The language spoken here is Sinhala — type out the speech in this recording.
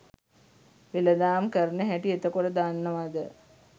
වෙලදාම් කරන හැටි එතකොට දන්නවද?